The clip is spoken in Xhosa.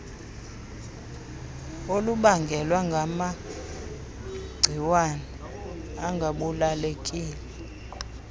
olubangelwa ngamagciwane angabulalekileyo